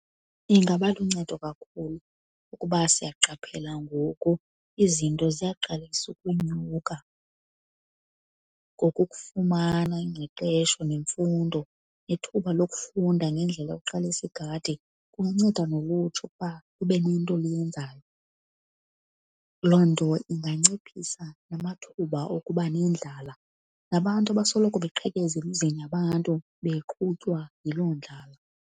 Ingaba luncedo kakhulu, ukuba siya qaphela ngoku izinto ziyaqalisa ukunyuka, ngoku ukufumana ingqeqesho nemfundo nethuba lokufunda ngendlela yokuqalisa igadi kunceda nolutsha ukuba lube nento oluyenzayo. Loo nto inganciphisa namathuba okuba nendlala, nabantu abasoloko baqhekeze emizini yabantu beqhutywa yiloo ndlala.